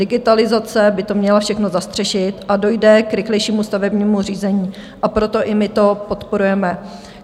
Digitalizace by to měla všechno zastřešit a dojde k rychlejšímu stavebnímu řízení, a proto i my to podporujeme.